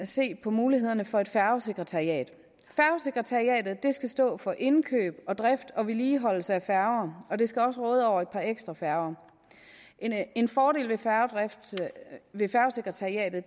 se på mulighederne for et færgesekretariat færgesekretariatet skal stå for indkøb og drift og vedligeholdelse af færger og det skal også råde over et par ekstra færger en fordel ved færgesekretariatet